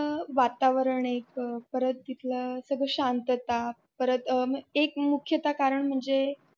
अ वातावरण एक परत तिथल सगळं शांतता परत एक मुख्यता कारण म्हणजे.